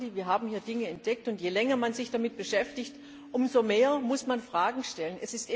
Wir haben hier Dinge entdeckt, und je länger man sich damit beschäftigt, umso mehr muss man Fragen stellen.